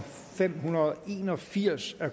fem hundrede og en og firs af